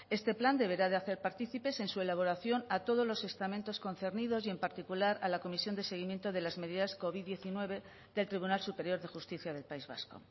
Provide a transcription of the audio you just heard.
este plan deberá de hacer partícipes en su elaboración a todos los estamentos concernidos y en particular a la comisión de seguimiento de las medidas covid diecinueve del tribunal superior de justicia del país vasco